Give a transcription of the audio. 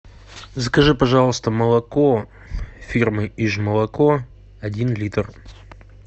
закажи пожалуйста молоко фирмы иж молоко один литр